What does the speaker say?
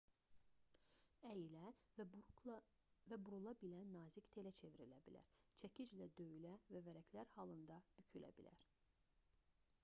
əyilə və burula bilən nazik telə çevrilə bilər çəkiclə döyülə və vərəqlər halında bükülə bilər